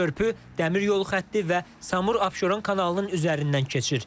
Körpü dəmir yolu xətti və Samur Abşeron kanalının üzərindən keçir.